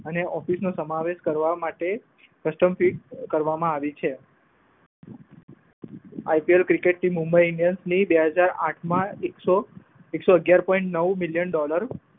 અને ઓફિશનો સમાવેશ કરવા માટે કસ્ટમફીક કરવામાં આવી છે. IPL cricket team Mumbai Indian બે હજાર આઠમા એકસો અગિયાર point નવ મિલ્યન ડોલર